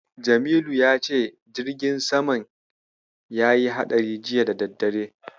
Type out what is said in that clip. Jamilu ya ce jirgin samam yayi haɗari juya da daddare.